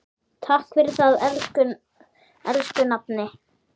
Takk fyrir það, elsku nafni.